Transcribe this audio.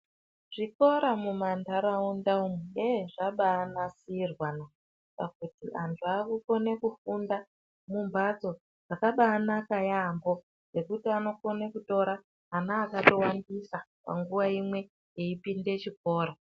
Zvikora mumantaraunda yeee zvabaa nasirwana pakuti vantu vakukona kufunda Kumhatso dzakabaa naka yaampo dzekuti anokone kutora ana akatowandisa panguwa imwe eipinde chikora.